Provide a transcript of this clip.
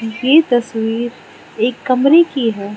ये तस्वीर एक कमरे की है।